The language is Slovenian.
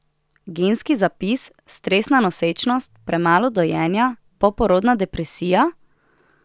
Genski zapis, stresna nosečnost, premalo dojenja, poporodna depresija?